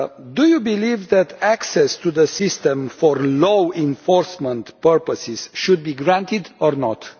Do you believe that access to the system for law-enforcement purposes should be granted, or not?